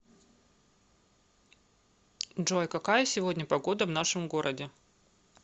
джой какая сегодня погода в нашем городе